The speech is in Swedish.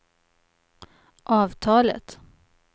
avtalet